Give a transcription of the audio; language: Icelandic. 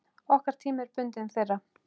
Okkar tími er bundinn þeirra.